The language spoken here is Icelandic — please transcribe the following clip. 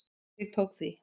Ég tók því.